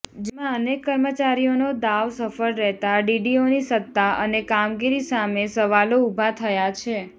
જેમાં અનેક કર્મચારીઓનો દાવ સફળ રહેતાં ડીડીઓની સત્તા અને કામગીરી સામે સવાલો ઉભા થયા છે